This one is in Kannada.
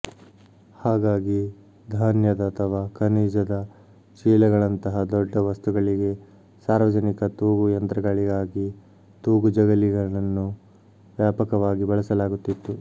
ಹಾಗಾಗಿ ಧಾನ್ಯದ ಅಥವಾ ಖನಿಜದ ಚೀಲಗಳಂತಹ ದೊಡ್ಡ ವಸ್ತುಗಳಿಗೆ ಸಾರ್ವಜನಿಕ ತೂಗು ಯಂತ್ರಗಳಿಗಾಗಿ ತೂಗು ಜಗಲಿಗಳನ್ನು ವ್ಯಾಪಕವಾಗಿ ಬಳಸಲಾಗುತ್ತಿತ್ತು